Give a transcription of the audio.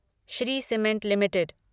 Shri cement limited